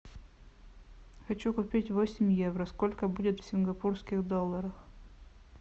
хочу купить восемь евро сколько будет в сингапурских долларах